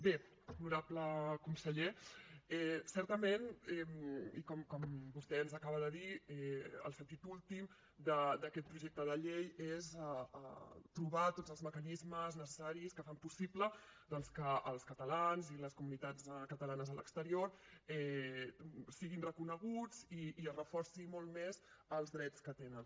bé honorable conseller certament i com vostè ens acaba de dir el sentit últim d’aquest projecte de llei és trobar tots els mecanismes necessaris que fan possible doncs que els catalans i les comunitats catalanes a l’exterior siguin reconeguts i es reforcin molt més els drets que tenen